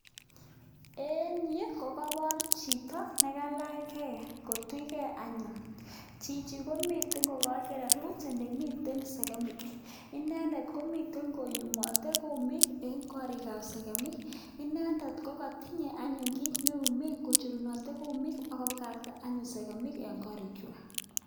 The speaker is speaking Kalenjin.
En yu kokoboor chito nekalach gei kotuch gei anyun, Chichi komiten kokowo kererut elemiten segemik. Inendet komiten koyumooter kumik en korikab segemik. Inendet ko kotinye anyone kit nelumen kocherunotee kumik ak kobakaktaa anyun segemik en korikchwak.